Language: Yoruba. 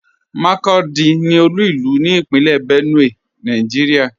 Makurdi ní olú ilú ní Ìpínlẹ̀ Benue, Nàìjíríà.